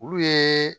Olu ye